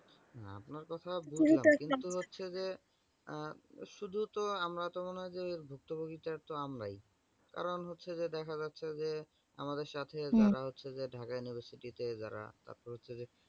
আপনার কথা বুজলাম। কিন্তু হচ্ছে যে উ শুধু তো আমরা তো মনে হয় যে ভুক্তভুগীটাত আমরাই। কারণ হচ্ছে যে দেখা যাচ্ছে যে আমাদের সাথে হম দেখা যাচ্ছে যে ঢাকা university তে যারা তারপর হচ্ছে যে